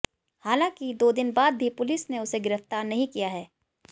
हालांकि दो दिन बाद भी पुलिस ने उसे गिरफ्तार नहीं किया है